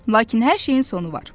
Lakin hər şeyin sonu var.